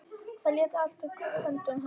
Það lék allt í höndum hans.